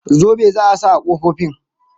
Zobe za a sa ƙofofin